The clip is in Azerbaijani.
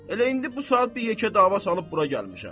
Elə indi bu saat bir yekə dava salıb bura gəlmişəm.